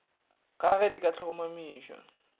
ga ge di ka tlhomamišwa